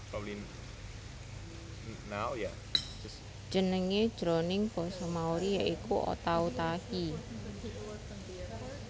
Jenengé jroning basa Maori ya iku Otautahi